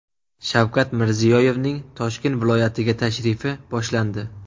Shavkat Mirziyoyevning Toshkent viloyatiga tashrifi boshlandi.